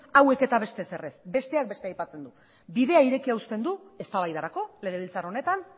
hauek eta beste ezer ez besteak beste aipatzen du bidea irekita uzten du eztabaidarako legebiltzar honetan